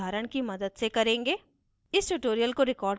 हम यह एक उदाहरण की मदद से करेंगे